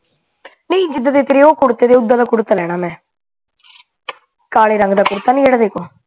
ਨਹੀਂ ਜਿੱਦਾ ਦਾ ਤੇਰਾ ਓ ਕੁੜਤੇ ਤੇ ਓਦਾ ਦਾ ਕੁੜਤਾ ਲੈਣਾ ਮੈਂ ਕਾਲੇ ਰੰਗ ਦਾ ਕੁੜਤਾ ਨਹੀਂ ਜਿਹੜਾ ਮੇਰੇ ਕੋਲ